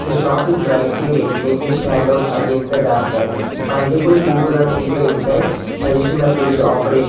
the shop is brightly lit making it stand out against the darker multiple people are seated inside suggesting the place is opera --